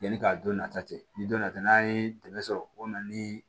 Yanni ka don nata tɛ ni don na ta n'an ye dɛmɛ sɔrɔ o na ni